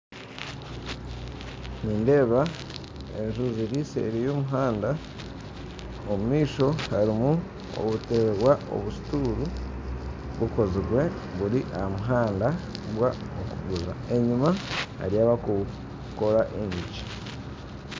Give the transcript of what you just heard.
Nindeeba enju ziri seeri y'omuhanda omu maisho harimu obutebe n'obusituuru bukozibwe buri aha muhanda bw'okuguza enyima hariyo abakukora enyigi